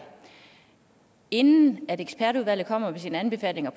inden ekspertudvalget kommer med sine anbefalinger